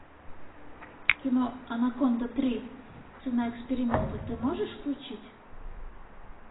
кино анаконда три цена эксперимента ты можешь включить